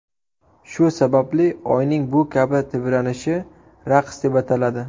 Shu sababli Oyning bu kabi tebranishi raqs deb ataladi.